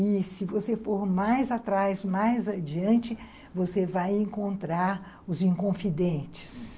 E se você for mais atrás, mais adiante, você vai encontrar os inconfidentes.